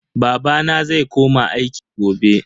Babana zai koma aiki gobe.